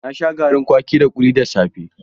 Na sha garin kwaki da kuli kuli da safe.